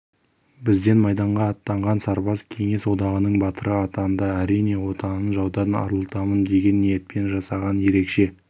бізден майданға аттанған сарбаз кеңес одағының батыры атанды әрине отанын жаудан арылтамын деген ниетпен жасаған ерекше